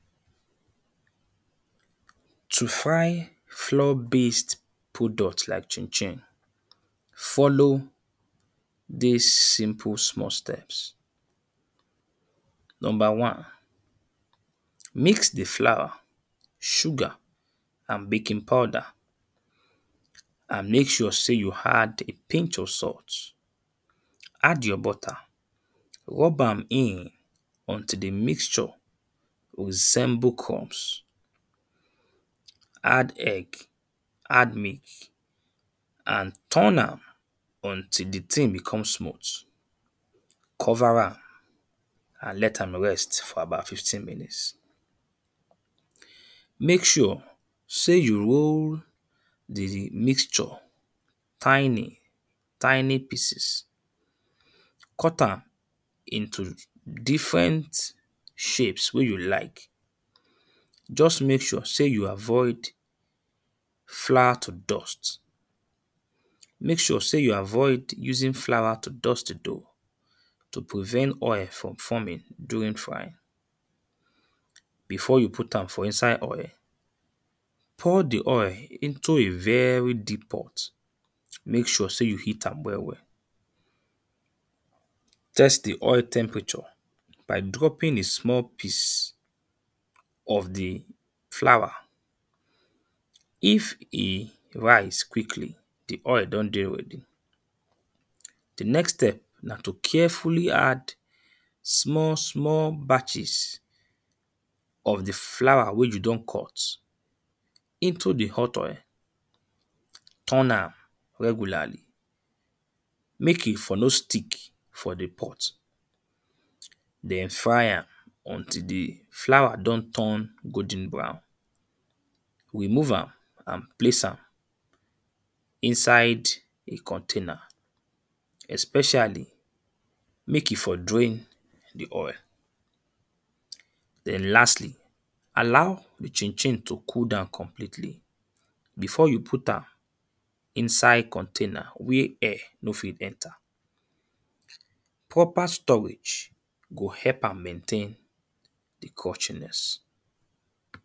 To fry flour based products like chin-chin, fo?lo? di?s si?mpu? sm?? st??ps number one; mix di flour, sugar, and baking powder and make sure sey you add a pinch of salt add your butter, rob am in, until di mixture resemble crumps, add egg, add milk, and turn am until di thing become smooth, cover am and let am rest for about fifteen minutes, make sure sey you roll [puse] di mixture tiny tiny pieces, cut am into different shapes wen you like just make sure you avoid flour to dust, make sure sey you avoid using flour to dust dough to prevent oil from forming during frying. Before you put am for inside oil, pour di oil into a very deep pot, make sure sey you heat am well well, test di oil temperature by dropping a small piece of di flour, if e rise quickly, di oil don dey ready, di next step na to carefully add small small batches of di flour wen you don cut, into di hot oil turn am regularly make e for no stick for di pot. Den fry am until di flour don turn golden brown remove am and place am for inside a container especially make e for drain di oil. den lastly allow di chin-chin to cool down completely before you put am inside container wey air no fit enter proper storage go help am maintain crunchiness.